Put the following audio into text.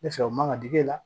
Ne fɛ o man ka d'e la